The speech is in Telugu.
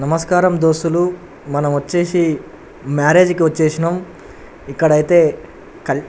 నమస్కారం డొస్తులు మనం వచ్చేసి మేరేజ్ కి వచ్చేసినామ్ ఇక్కడైతే క --